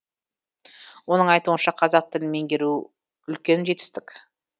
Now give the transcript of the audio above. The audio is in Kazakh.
оның айтуынша қазақ тілін меңгеріу үлкен жетістік